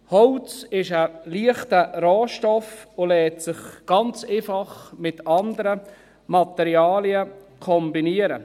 Holz ist ein leichter Rohstoff und lässt sich ganz einfach mit anderen Materialien kombinieren.